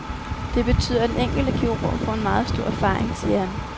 Det betyder, at den enkelte kirurg får en meget stor erfaring, siger han.